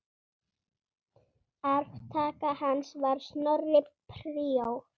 Arftaki hans var Snorri príor.